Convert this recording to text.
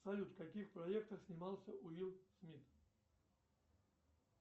салют в каких проектах снимался уилл смит